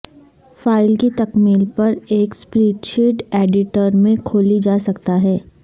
file کی تکمیل پر ایک سپریڈ شیٹ ایڈیٹر میں کھولی جا سکتا ہے